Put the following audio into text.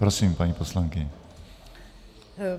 Prosím, paní poslankyně.